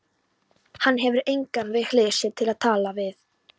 Hann hefur engan við hlið sér til að tala við.